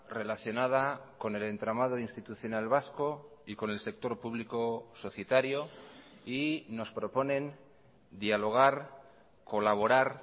relacionada con el entramado institucional vasco y con el sector público societario y nos proponen dialogar colaborar